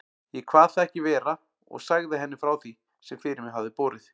Ég kvað það ekki vera og sagði henni frá því, sem fyrir mig hafði borið.